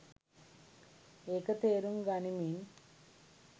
ඒක තේරුම් ගනිමින්